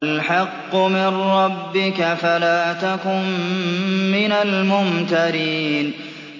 الْحَقُّ مِن رَّبِّكَ فَلَا تَكُن مِّنَ الْمُمْتَرِينَ